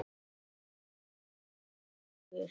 Síle verður erfiður leikur.